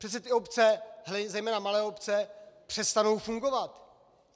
Přece ty obce, zejména malé obce, přestanou fungovat.